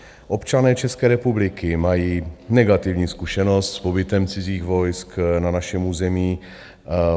Občané České republiky mají negativní zkušenost s pobytem cizích vojsk na našem území.